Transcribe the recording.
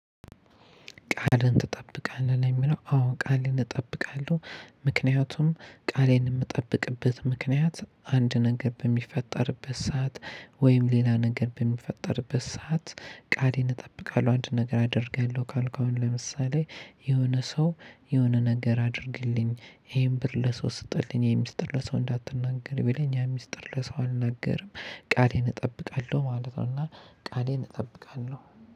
ቃልህን ትጠብቃለህ? ለሚለው አዎ ቃሌን እጠብቃለሁ ምክንያቱም ቃሌን የምጠብቅበት ምክንያት አንድ ነገር በሚፈጠርበት ሰዓት ወይም ሌላ ነገር በሚፈጠርበት ሰዓት ቃሌን እጠብቃለሁ። አንድ ነገር አደርጋለሁ ካልኩ አሁን ለምሳሌ የሆነ ሰው የሆነ ነገር አድርግልኝ ይሄን ብር ለሰው ስጥልኝ ይሄን ሚስጥር ለሰው እንዳትናገር ብለን ያን ሚስጥር ለሰው አልናገርም ቃሌን እጠብቃለሁ ማለት ነው እና ቃሌን እጠብቃለሁ።